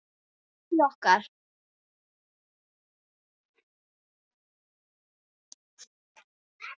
Elsku Addý okkar.